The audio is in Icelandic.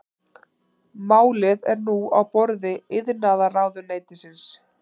Málið er nú á borði iðnaðarráðuneytisins